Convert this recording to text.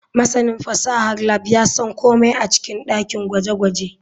Masanin fasahar lab ya san komai a cikin dakin gwaje-gwaje.